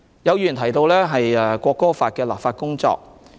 有議員提到《國歌法》的本地立法工作。